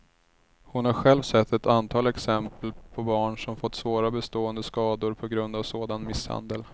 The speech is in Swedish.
Hon har själv sett ett antal exempel på barn som fått svåra bestående skador på grund av sådan misshandel.